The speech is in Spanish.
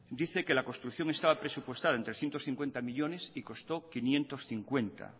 dice que la construcción estaba presupuestada en trescientos cincuenta millónes y costó quinientos cincuenta